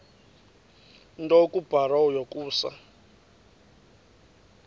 nto kubarrow yokusa